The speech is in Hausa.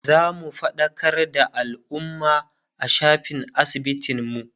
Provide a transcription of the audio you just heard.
zamu faɗakar da alumma a shafin asibitin mu